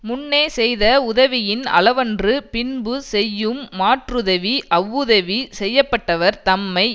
முன்னே செய்த உதவியின் அளவன்று பின்பு செய்யும் மாற்றுதவி அவ்வுதவி செய்ய பட்டவர் தன்மை